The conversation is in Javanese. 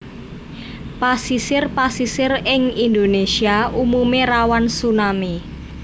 Pasisir pasisir ing Indonesia umume rawan tsunami